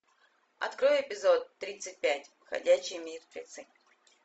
открой эпизод тридцать пять ходячие мертвецы